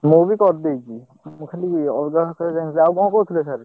ମୁଁ ବି କରିଦେଇଛି। ମୁଁ ଖାଲି ଅଲଗା କଥାରେ ଯାଇନି ଆଉ କଣ କହୁଥିଲେ sir ।